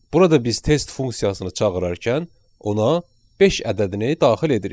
Burada biz test funksiyasını çağırarkən ona beş ədədini daxil edirik.